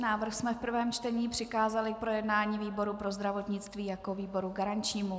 Návrh jsme v prvém čtení přikázali k projednání výboru pro zdravotnictví jako výboru garančnímu.